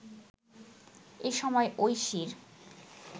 এ সময় ঐশীর